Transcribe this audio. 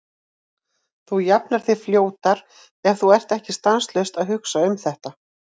Þú jafnar þig fljótar ef þú ert ekki stanslaust að hugsa um þetta.